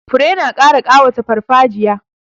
Fure na ƙara ƙawata farfajiya.